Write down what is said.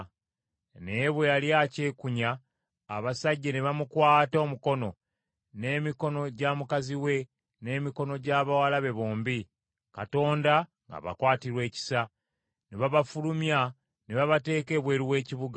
Naye bwe yali akyekunya, abasajja ne bamukwata omukono, n’emikono gya mukazi we, n’emikono gy’abawala be bombi, Mukama ng’abakwatirwa ekisa, ne babafulumya ne babateeka ebweru w’ekibuga.